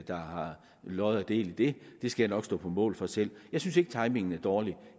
der har lod og del i det det skal jeg nok stå på mål for selv jeg synes ikke timingen er dårlig